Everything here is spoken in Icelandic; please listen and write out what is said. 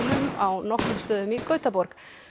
á nokkrum stöðum í Gautaborg